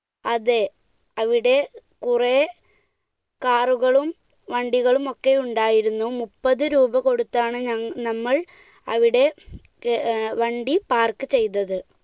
അതെ, അവിടെ കുറെ car കളും വണ്ടികളുമൊക്കെ ഉണ്ടായിരുന്നു, മുപ്പതു രൂപ കൊടുത്താണ് നമ്മൾ അവിടെ വണ്ടി ഏർ park ചെയ്തത്.